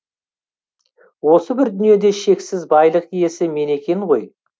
осы бір дүниеде шексіз байлық иесі мен екен ғой